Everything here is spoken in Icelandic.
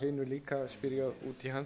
hann því hann